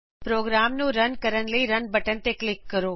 programme ਨੂੰ run ਕਰਨ ਲਈ ਰਨ ਬਟਨ ਤੇ ਕਲਿਕ ਕਰੋ